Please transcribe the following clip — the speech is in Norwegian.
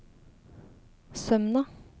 Sømna